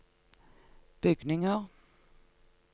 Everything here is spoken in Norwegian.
bygninger